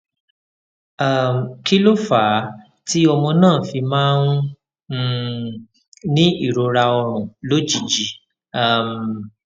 um kí ló fà á tí ọmọ náà fi máa ń um ní ìrora orun lójijì um